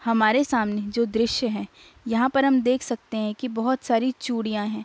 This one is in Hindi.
हमारे सामने जो दृश्य है यहाँ पर हम देख सकते है कि बहुत सारी चुड़ियाँ हैं।